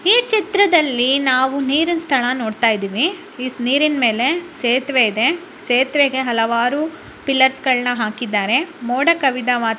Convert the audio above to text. ಈ ಚಿತ್ರದಲ್ಲಿ ನಾವು ನೀರಿನ ಸ್ಥಳ ನೋಡ್ತಾ ಇದೀವಿ ಈ ನೀರಿನ ಮೇಲೆ ಸೇತುವೆ ಇದೆ ಸೇತುವೆಗೆ ಹಲವಾರು ಪಿಲ್ಲರ್ಸ್ ಗಳನ್ನ ಹಾಕಿದ್ದಾರೆ ಮೋಡ ಕವಿದ ವಾತ್‌ --